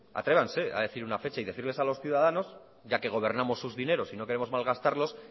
atrévanse a decir una fecha y decirles a los ciudadanos ya que gobernamos sus dineros y no queremos malgastarlos